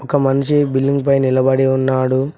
ఒక మనిషి బిల్డింగ్ పై నిలబడి ఉన్నాడు.